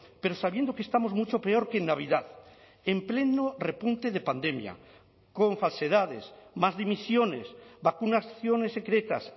pero sabiendo que estamos mucho peor que en navidad en pleno repunte de pandemia con falsedades más dimisiones vacunaciones secretas